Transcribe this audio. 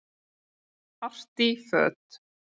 Artí föt